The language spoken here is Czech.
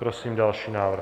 Prosím další návrh.